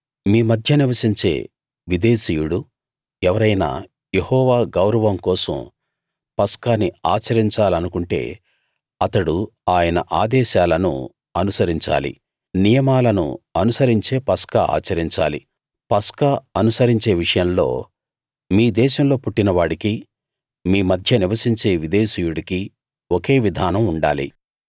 మీ మధ్య నివసించే విదేశీయుడు ఎవరైనా యెహోవా గౌరవం కోసం పస్కాని ఆచరించాలనుకుంటే అతడు ఆయన ఆదేశాలను అనుసరించాలి నియమాలను అనుసరించే పస్కా ఆచరించాలి పస్కా అనుసరించే విషయంలో మీ దేశంలో పుట్టిన వాడికీ మీ మధ్య నివసించే విదేశీయుడికీ ఒకే విధానం ఉండాలి